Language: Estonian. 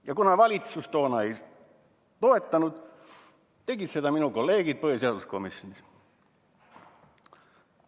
Ja kuna valitsus toona ei toetanud, tegid nii ka minu kolleegid põhiseaduskomisjonis.